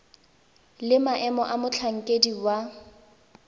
le maemo a motlhankedi wa